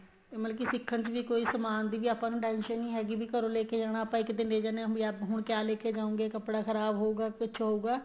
ਮਤਲਬ ਕੀ ਸਿੱਖਣ ਚ ਵੀ ਕੋਈ ਸਮਾਨ ਦੀ ਆਪਾਂ ਨੂੰ tension ਨਹੀਂ ਹੈਗੀ ਵੀ ਆਪਾਂ ਘਰੋ ਲੈਕੇ ਜਾਣਾ ਆਪਾਂ ਇੱਕ ਦਿਨ ਲੇ ਜਾਂਦੇ ਹਾਂ ਵੀ ਆ ਹੁਣ ਕਿਆ ਲੈਕੇ ਜਾਉਗੇ ਕੱਪੜਾ ਖ਼ਰਾਬ ਹੋਉਗਾ ਕੁੱਛ ਹੋਉਗਾ